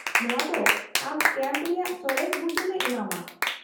-ᱱᱚᱶᱟ ᱫᱚ ᱟᱢ ᱠᱮᱢᱯ ᱨᱮᱭᱟᱜ ᱥᱚᱨᱮᱥ ᱵᱩᱡᱩᱱᱮ ᱮᱢᱟᱢᱟ ᱾